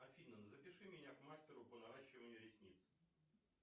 афина запиши меня к мастеру по наращиванию ресниц